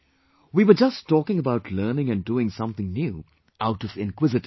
We were just talking about learning and doing something new out of inquisitiveness